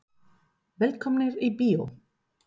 Velkomnir í bíó.